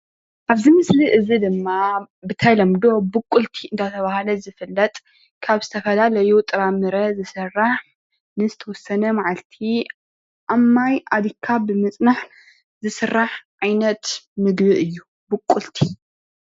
ኣብዚ ምስሊ እዚ ድማ ብተለምዶ ብቁልቲ አንዳተብሃለ ዝፍለጥ ካብ ዝተፈላለዩ ጥራምረ ዝስራሕ ንዝተወሰነ መዓልቲ ኣብ ማይ ኣሊኽካ ብምጽናሕ ዝስራሕ ዓይነት ምግቢ እዩ ብቁልቲ ።